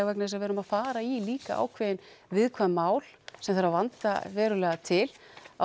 vegna þess að við erum að fara í líka ákveðin viðkvæm mál sem þarf að vanda verulega til og